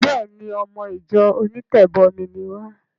Béèni! Ọmọ ìjọ onítẹ̀bọmi ni wá.